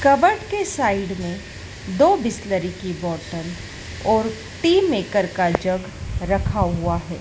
Cupboard के side में दो बिसलेरी की बॉटल और टी मेकर का जग रखा हुआ है।